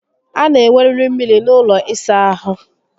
A na enweriri mmiri n'ụlọ ịsa ahụ